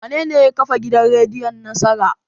Wanene ya kafa gidan rediyon Nasara?